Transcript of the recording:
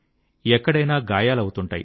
ఎక్కడైనా గాయాలవుతుంటాయి